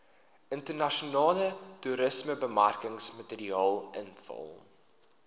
internasionale toerismebemarkingsmateriaal invul